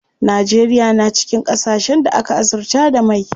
Najeriya na cikin ƙasashen da aka azurta da mai.